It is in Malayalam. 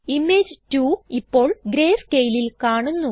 ഇമേജ് 2 ഇപ്പോൾ greyscaleൽ കാണുന്നു